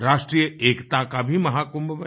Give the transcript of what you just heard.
राष्ट्रीय एकता का भी महाकुंभ बने